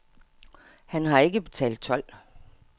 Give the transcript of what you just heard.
Han har ikke betalt told.